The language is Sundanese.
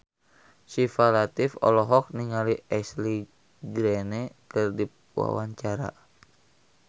Syifa Latief olohok ningali Ashley Greene keur diwawancara